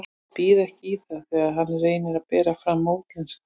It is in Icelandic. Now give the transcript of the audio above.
Ég býð ekki í það þegar hann reynir að bera fram á útlensku.